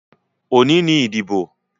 Òní ni ìdìbò.